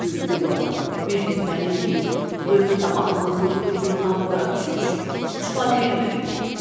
Tülkü baba, biz də sənin kimi öz tamahımızın ucundan bura düşmüşük, çıxa bilmirik.